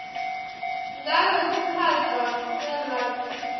ngabe kuphatfwa kwelwati